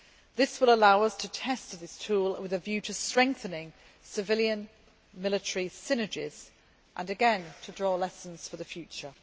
This will allow us to test this tool, with a view to strengthening civilian military synergies and again to draw lessons for the future.